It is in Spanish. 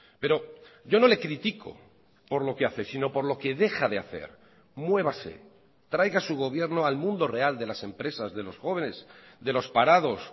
pero yo no le critico por lo que hace sino por lo que deja de hacer muévase traiga su gobierno al mundo real de las empresas de los jóvenes de los parados